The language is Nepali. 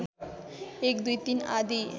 १ २ ३ आदि